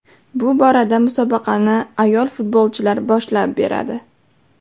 Bu borada musobaqani ayol futbolchilar boshlab beradi.